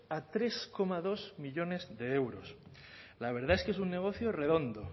a tres coma dos millónes de euros la verdad es que es un negocio redondo